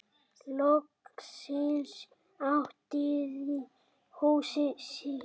Loksins áttaði hún sig.